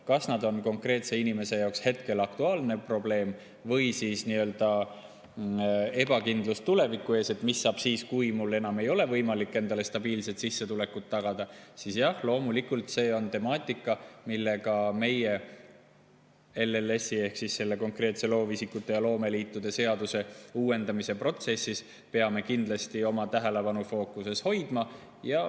Kas see on konkreetse inimese jaoks hetkel aktuaalne probleem või on see ebakindlus tuleviku ees, et mis saab siis, kui mul enam ei ole võimalik endale stabiilset sissetulekut tagada – jah, loomulikult, see on temaatika, mida me LLS‑i ehk loovisikute ja loomeliitude seaduse uuendamise protsessis peame kindlasti oma tähelepanufookuses hoidma.